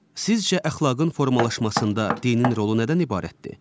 Sizcə əxlaqın formalaşmasında dinin rolu nədən ibarətdir?